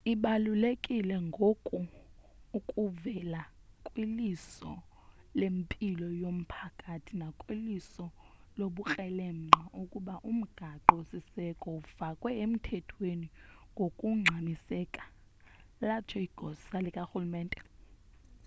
ibalulekile ngoku ukuvela kwiliso lempilo yomphakathi nakwiliso lobukrelemnqa ukuba umgaqo siseko efakwe emthethweni ngokungxamiseka latsho igosa likarhulumente